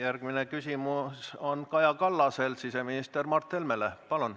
Järgmine küsimus on Kaja Kallasel siseminister Mart Helmele.